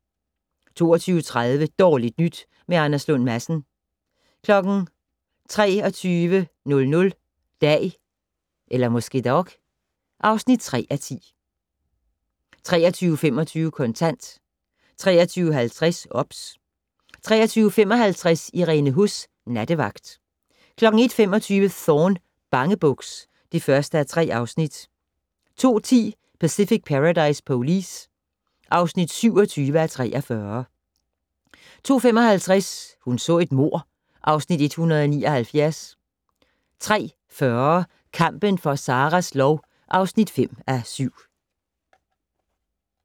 22:30: Dårligt nyt med Anders Lund Madsen 23:00: Dag (3:10) 23:25: Kontant 23:50: OBS 23:55: Irene Huss: Nattevagt 01:25: Thorne: Bangebuks (1:3) 02:10: Pacific Paradise Police (27:43) 02:55: Hun så et mord (Afs. 179) 03:40: Kampen for Sarahs lov (5:7)